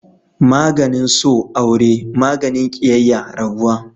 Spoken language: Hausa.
maganin so aure, maganin kiyayya rabuwa